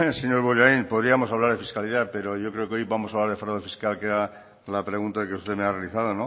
señor bollain podríamos hablar de fiscalidad pero yo creo que hoy vamos a hablar de fraude fiscal que era la pregunta que usted me ha realizado